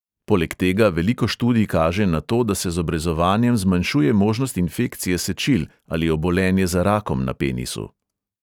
Poleg tega veliko študij kaže na to, da se z obrezovanjem zmanjšuje možnost infekcije sečil ali obolenje za rakom na penisu.